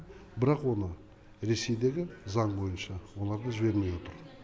бірақ оны ресейдегі заң бойынша оларды жібермей отыр